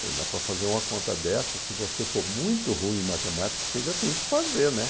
Falei, mas para fazer uma conta dessa, se você for muito ruim em matemática, você ainda tem que fazer, né?